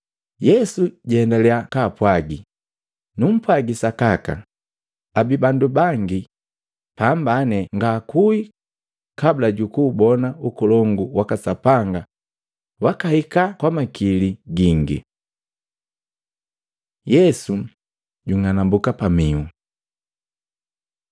Yesu jaendalya kaapwagi, “Numpwagi sakaka, abii bandu bangi apambani ngaakui kabula jukuubona Ukolongu waka Sapanga wakahika kwamakili gingi.” Yesu junganambuka pamihu Matei 17:1-13; Luka 9:28-36